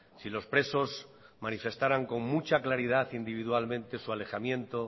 si los presos manifestaran con mucha claridad individualmente su alejamiento